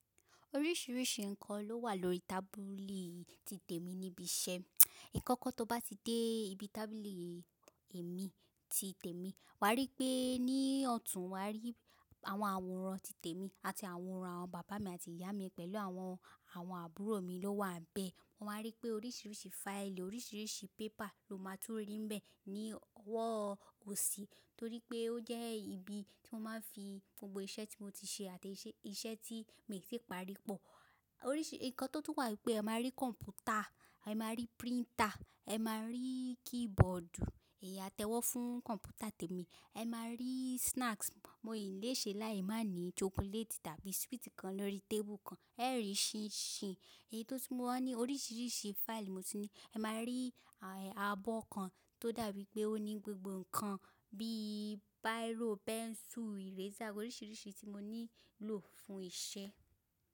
Oríṣiríṣi ǹkan ló wà lórí tábìlì tí tèmi níbi iṣẹ́. Ìkọ́kọ́ tó bá ti dé ibi tábìlì èmi ti tèmi, wà á rí pé ní ọ̀tún wà á rí àwọn àwòrán ti tèmi àti àwòrán àwọn bàbá mi àti ìyá mi pẹ̀lú àwọn, àwọn àbúrò mi ló wà bẹ́ẹ̀. O máa rí pé oríṣiríṣi fáìlì, oríṣiríṣi pépà ló máa tún rí bẹ́ẹ̀ ní ọwọ́ òsì torí pé ó jẹ́ ibi tí wọ́n máa ń fi gbogbo iṣẹ́ tí mo ti ṣe àti iṣẹ́ tí mii tì parí pọ̀. Oríṣi ǹkan tó tún wà ni pé ẹ máa rí kọ̀m̀pútà, ẹ máa rí príntà, ẹ máa rí kíbọ̀ọ̀dù, ẹ̀yà atẹ́wọ́ fún kọ̀m̀pútà tèmi. Ẹ máa rí snacks, mo ìlè ṣe láé máa ní chocolate tàbí sweet kan lórí tébù kan, ẹ rí ṣinṣin. Èyí tó ti máa ní oríṣiríṣi fáìlì mo tun ní. Ẹ máa rí abọ́ kan tó dàbí pé ó ní gbogbo ǹkan bíi bírò, pẹ́nsù, iresà, oríṣiríṣi tí mo nílò fún ìṣe.